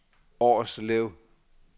Årslev